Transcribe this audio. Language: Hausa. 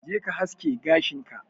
je ka haske gashin ka.